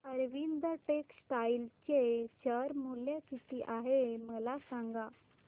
Arvind Textile चे share मूल्य किती आहे मला सांगा